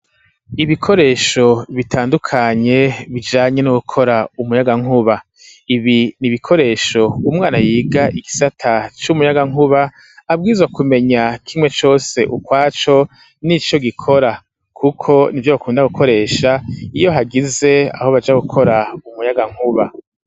Ibikoresho bitandukanye bijanye no gukora umuyagankuba ibi n'ibikoresho umwana yiga igisata c'umuyaga nkuba abwizo kumenya kimwe cose ukwaco nico gikora kuko nivyo bakunda gukoresha iyo hagize aho baja gukora umuyagankuba